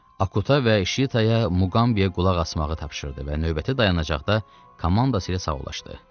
Akutaya və Şitaya Muqambiyə qulaq asmağı tapşırdı və növbəti dayanacaqda komandası ilə sağollaşdı.